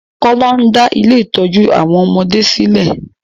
Kọ́lá ń dá ilé-ìtójú àwọn ọmọdé sí lè.